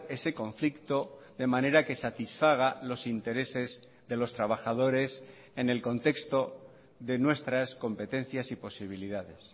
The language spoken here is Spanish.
ese conflicto de manera que satisfaga los intereses de los trabajadores en el contexto de nuestras competencias y posibilidades